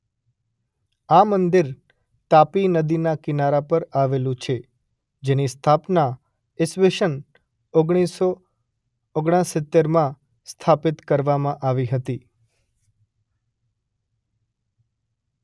આ મંદિર તાપી નદીના કિનારા પર આવેલું છે જેની સ્થાપના ઇસવીસન ઓગણીસ સો ઓગણસિત્તેર માં સ્થાપિત કરવામાં આવી હતી.